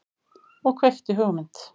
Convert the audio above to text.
Og kveikti hugmynd.